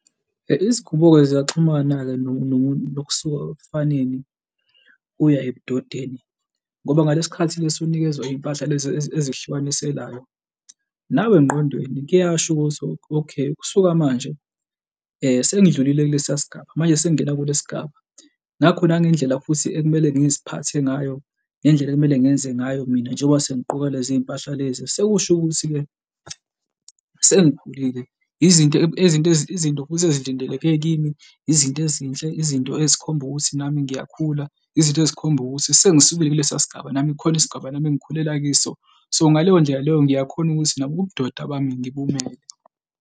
Izingubo-ke ziyaxhumana-ke nokusuka ebufaneni uya ebudodeni ngoba ngalesi khathi lesi unikezwa iy'mpahla lezi ezihlukaniselayo, nawe engqondweni kuyasho ukuthi okay, kusuka manje sengidlulile kulesiya sigaba manje sengingena kule sigaba, ngakho nangendlela futhi ekumele ngiziphathe ngayo ngendlela ekumele ngenze ngayo mina njengoba sengiqoka leziy'mpahla lezi sekusho ukuthi-ke sengikhulile izinto izinto, izinto futhi ezilindeleke kimi izinto ezinhle, izinto ezikhomba ukuthi nami ngiyakhula, izinto ezikhomba ukuthi sengisukile kulesiya sigaba, nami kukhona isigabeni nami engikhulele kiso. So, ngaleyo ndlela leyo ngiyakhona ukuthi nabo ubudoda bami, ngibonayo.